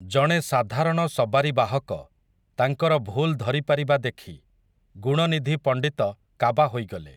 ଜଣେ ସାଧାରଣ ସବାରି ବାହକ, ତାଙ୍କର ଭୁଲ୍ ଧରିପାରିବା ଦେଖି, ଗୁଣନିଧି ପଣ୍ଡିତ କାବା ହୋଇଗଲେ ।